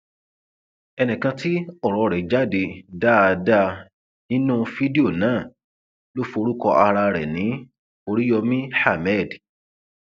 ẹnìkan tí ọrọ rẹ jáde dáadáa nínú fídíò náà ló forúkọ ara ẹ ní oríyomi ahmed